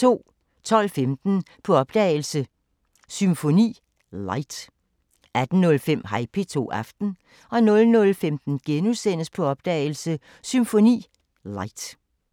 12:15: På opdagelse – Symfoni Light 18:05: Hej P2 – Aften 00:15: På opdagelse – Symfoni Light *